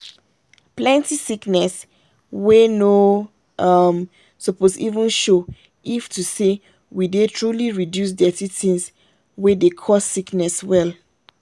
plenty sickness wey no um suppose even show if to say we dey truly reduce dirty things wey dey cause sickness well.